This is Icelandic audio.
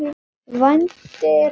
Vændi er bannað.